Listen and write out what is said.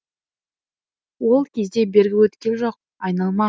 ол кезде бергі өткел жоқ айналма